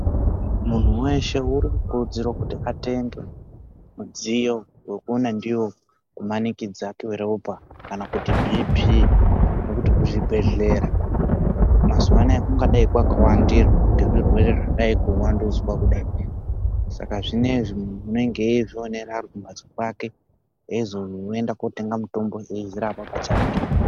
Muntu weshe arikukurudzirwa atenge midziyo wekukona ndiwo kumanikidzwa kweropa Kana kuti BP nekuti kuzvibhedhlera mazuva anawa kungadai kwakawandirwa nezvirwere zvadai kuwandudzwa kudai Saka zvinezvi muntu anenge eizvionera Ari kumbatso kwake eizoenda kotenga mutombo eizvirapa pachake.